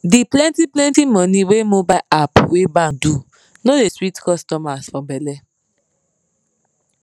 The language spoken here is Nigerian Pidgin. di plentyplenty money wey mobile app wey bank do no dey sweet customers for belle